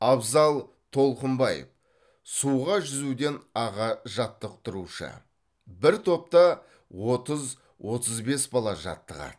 абзал толқынбаев суға жүзуден аға жаттықтырушы бір топта отыз отыз бес бала жаттығады